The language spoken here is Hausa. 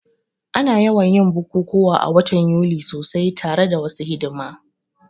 Ana yawan yin bukukuwa a watan Yuli sosai tare da wasu hidima